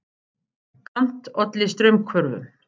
Kant olli straumhvörfum.